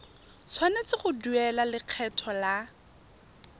tshwanetse go duela lekgetho la